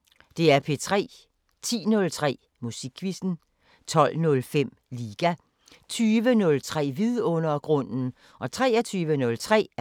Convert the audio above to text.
10:03: Musikquizzen 12:05: Liga 20:03: Vidundergrunden 23:03: Natradio